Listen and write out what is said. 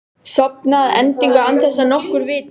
Sofna að endingu án þess að nokkur viti.